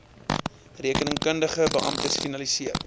rekeningkundige beamptes finaliseer